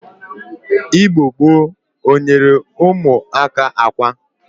Igbo gboo o nyere umuaka akwa?